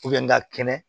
ŋa kɛnɛ